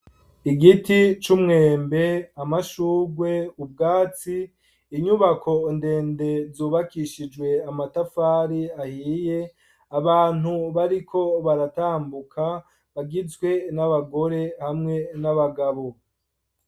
Igiti c'umwembe, amashurwe ,ubwatsi, inyubako ndende zubakishijwe amatafari ahiye, abantu bariko baratambuka, bagizwe n'abagore, hamwe n'abagabo.